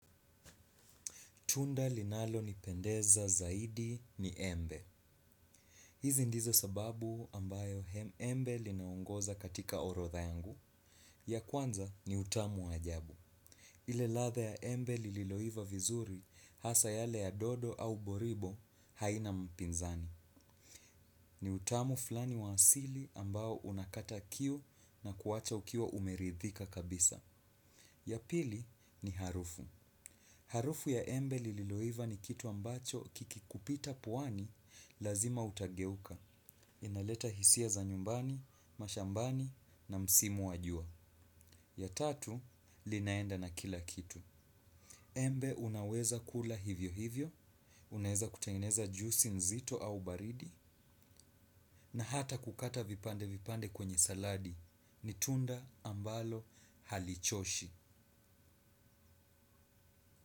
Tunda linalonipendeza zaidi ni embe. Hizi ndizo sababu ambayo embe linaongoza katika orodha yangu. Ya kwanza ni utamu wa ajabu. Ile ladha ya embe lililoiva vizuri hasa yale ya dodo au boribo haina mpinzani. Ni utamu flani wa asili ambayo unakata kiu na kuwacha ukiwa umeridhika kabisa. Ya pili ni harufu. Harufu ya embe lililoiva ni kitu ambacho kikikupita puani lazima utageuka. Inaleta hisia za nyumbani, mashambani na msimu wa jua. Ya tatu, linaenda na kila kitu. Embe unaweza kula hivyo hivyo, unaweza kutengeneza juisi nzito au baridi, na hata kukata vipande vipande kwenye saladi. Ni tunda ambalo halichoshi.